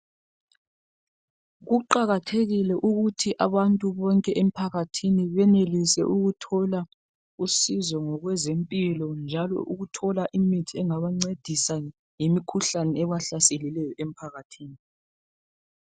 kuqakathekile ukuthi abantu bonke emphakathini benelise ukuthola usizo ngokwezempilo njalo ukuthola imithi engabancedisa ngemikhuhlane ebahlaselileyo emphakathini.